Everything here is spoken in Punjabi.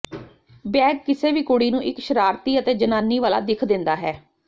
ਬੈਗ ਕਿਸੇ ਵੀ ਕੁੜੀ ਨੂੰ ਇੱਕ ਸ਼ਰਾਰਤੀ ਅਤੇ ਜਵਾਨੀ ਵਾਲਾ ਦਿੱਖ ਦਿੰਦਾ ਹੈ